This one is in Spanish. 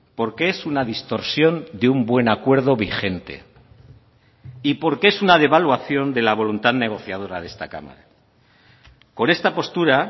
porque es una distorsión de un buen acuerdo vigente y porque es una devaluación de la voluntad negociadora de esta cámara con esta postura